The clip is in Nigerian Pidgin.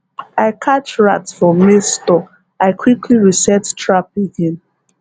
i catch rat for maize store i quickly reset trap again